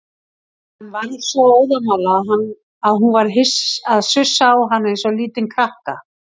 Hann var svo óðamála að hún varð að sussa á hann eins og lítinn krakka.